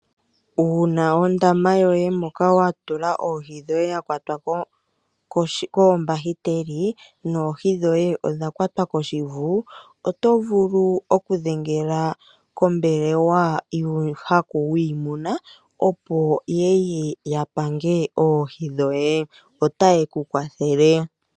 Uuna ondama yoye moka wa tula oohi ya kwatwa koombahiteli noohi dhoye odha kwatwa koshivu, otovulu okudhengela kombelelwa yuuhaku opo yeye yapange oohi dhoye, otaye ku kwathele.